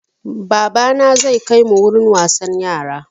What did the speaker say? Babana zai kai mu wurin wasan yara.